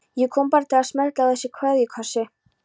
Ég kom bara til að smella á þig kveðjukossi.